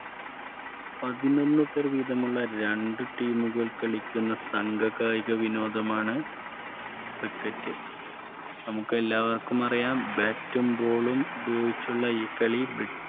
പതിനൊന്ന് പേർ വീതമുള്ള രണ്ടുടീമുകൾ കളിക്കുന്ന സംഘഗായിക വിനോദമാണ് Criket. നമുക്കെല്ലാവർക്കും അറിയാം Bat, Bowl ഉപയോഗിച്ചുള്ള ഈ കളി ബ്രിട്ടീഷ്